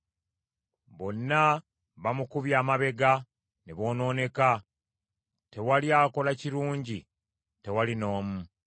Bonna bamukubye amabega ne boonooneka; tewali akola kirungi, tewali n’omu.